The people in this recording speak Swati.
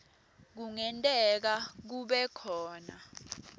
kungenteka kube khona